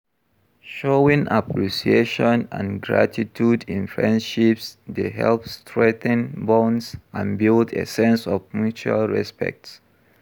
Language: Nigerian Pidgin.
Showing appreciation and gratitude in friendships dey help strengthen bonds and build a sense of mutual respect.